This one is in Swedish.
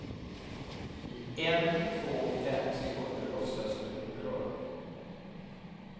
I en två fem sekunder låtsades du oberörd.